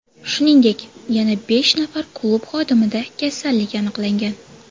Shuningdek, yana besh nafar klub xodimida kasallik aniqlangan.